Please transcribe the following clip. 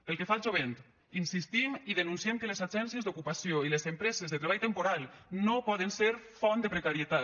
pel que fa al jovent insistim i denunciem que les agències d’ocupació i les empreses de treball temporal no poden ser font de precarietat